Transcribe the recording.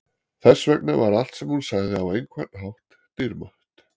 Þess vegna var allt sem hún sagði á einhvern hátt dýrmætt.